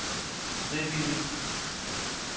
frivilligt